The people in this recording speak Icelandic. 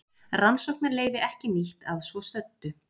Rannsóknarleyfi ekki nýtt að svo stöddu